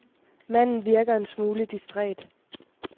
Manden virker en smule distræt.